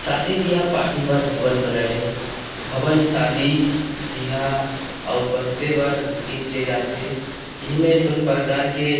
शादी बिहा पार्टी पर भवन बनाये हे भवन शादी बिहा अउ बर्थडे पर बुकींग किया जात थे इहां में धुन प्रकार के --